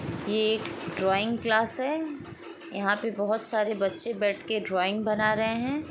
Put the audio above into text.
ये एक drawing class हैं यहाँ पे बहोत सारे बच्चे बैठके ड्राइंग बना रहे है ।